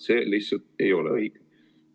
See lihtsalt ei ole õige.